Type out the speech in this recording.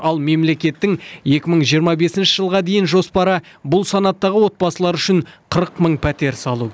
ал мемлекеттің екі мың жиырма бесінші жылға дейін жоспары бұл санаттағы отбасылар үшін қырық мың пәтер салу